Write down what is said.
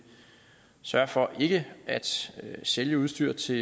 sørge for ikke at sælge udstyr til